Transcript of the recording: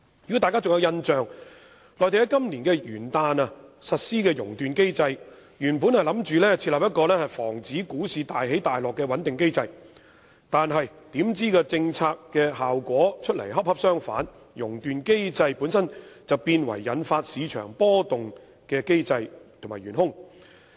如果大家仍有印象，內地於今年元旦日實施"熔斷機制"，原意是設立一個防止股市大起大落的穩定機制，但出來的政策效果卻恰恰相反，"熔斷機制"本身變成引發市場波動的機制和元兇。